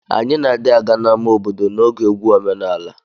Anyi na di aga na ama obodo na oge egwu omenala.